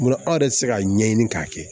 Bolo aw yɛrɛ ti se ka ɲɛɲini k'a kɛ